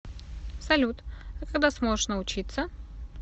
салют а когда сможешь научиться